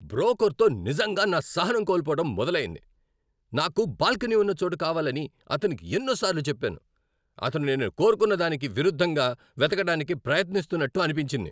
బ్రోకర్తో నిజంగా నా సహనం కోల్పోవడం మొదలయింది. నాకు బాల్కనీ ఉన్న చోటు కావాలని అతనికి ఎన్నో సార్లు చెప్పాను. అతను నేను కోరుకున్నదానికి విరుద్ధంగా వెతకడానికి ప్రయత్నిస్తున్నట్టు అనిపించింది.